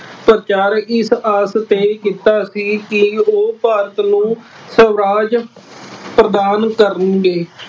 ਪ੍ਰਚਾਰ ਇਸ ਆਸ ਤੇ ਕੀਤਾ ਸੀ ਕਿ ਉਹ ਭਾਰਤ ਨੂੰ ਸਵਰਾਜ ਪ੍ਰਧਾਨ ਕਰਨਗੇ।